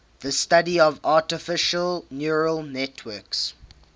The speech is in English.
the study of artificial neural networks